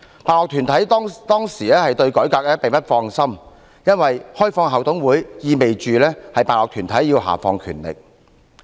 辦學團體當時對改革並不放心，因為開放校董會，意味着辦學團體要下放權力。